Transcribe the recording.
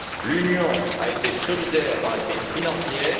L'Union a été solidaire dans la crise financière